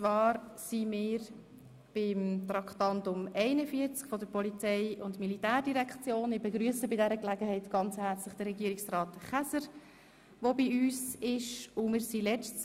Wir steigen somit wieder in das Traktandum 41 der Polizei- und Militärdirektion ein, dort, wo wir am vergangenen Donnerstag stehen geblieben sind.